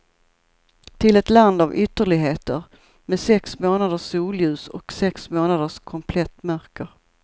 Till ett land av ytterligheter, med sex månaders solljus och sex månaders komplett mörker.